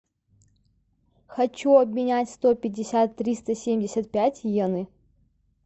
хочу обменять сто пятьдесят триста семьдесят пять йены